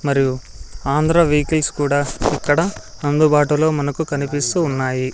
మరియు ఆంధ్ర వెహికల్స్ కూడా అక్కడ అందుబాటులో మనకు కనిపిస్తూ ఉన్నాయి.